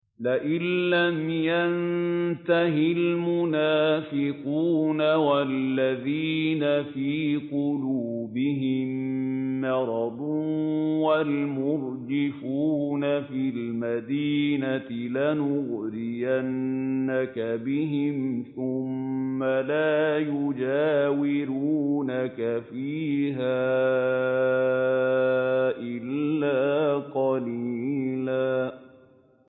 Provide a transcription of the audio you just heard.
۞ لَّئِن لَّمْ يَنتَهِ الْمُنَافِقُونَ وَالَّذِينَ فِي قُلُوبِهِم مَّرَضٌ وَالْمُرْجِفُونَ فِي الْمَدِينَةِ لَنُغْرِيَنَّكَ بِهِمْ ثُمَّ لَا يُجَاوِرُونَكَ فِيهَا إِلَّا قَلِيلًا